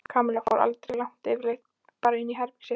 Kamilla fór aldrei langt yfirleitt bara inn í herbergið sitt.